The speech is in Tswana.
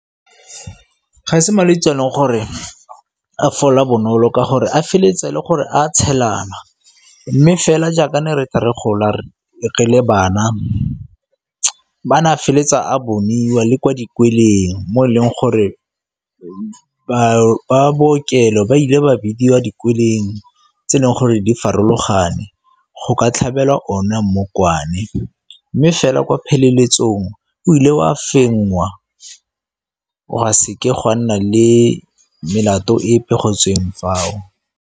Ga se malwetsi a e leng gore a fola bonolo ka gore a feleletse e le gore a tshelana, mme fela jaaka ne re gola re le bana ba na feleletsa a boniwa le kwa dikolweng mo e leng gore ba bookelo ba ile ba bidiwa dikolweng tse e leng gore di farologane go ka tlhabelwa ona mmokwane mme fela kwa pheleletsong o ile wa fenngwa gona seke gwa nna le melato epe go tsweng fao.